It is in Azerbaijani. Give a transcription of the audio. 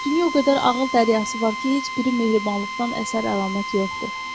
Dünya o qədər ağıl dəryası var ki, heç biri mehribanlıqdan əsər əlamət yoxdur.